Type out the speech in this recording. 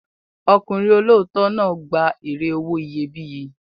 Ọkùnrin olóòótọ́ náà gba èrè owó iyebíye.